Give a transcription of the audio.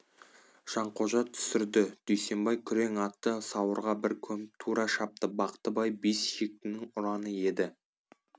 жанқожа түсірді дүйсенбай күрең атты сауырға бір көміп тура шапты бақтыбай бес шектінің ұраны еді